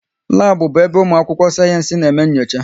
Labu bụ ebe ụmụ akwụkwọ sayensị na eme nyocha